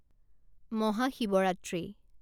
Mahashivratri